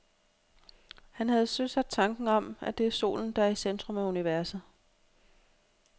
Han havde søsat tanken om, at det er solen, der er i centrum af universet.